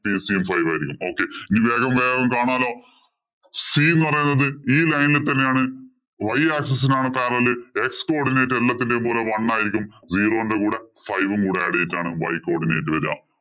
cc യും five ആയിരിക്കും. ഇനി വേഗം വേഗം കാണാലോ. c എന്ന് പറയുന്നത് ഈ line ഇല്‍ തന്നെയാണ്. Y axis ഇനാണ് x coodinate എല്ലാത്തിന്‍റേം കൂടെ one ആയിരിക്കും. Zero ഇന്‍റെ കൂടെ five ഉം കൂടെ add ചെയ്തിട്ടാണ് y coodinate വരിക.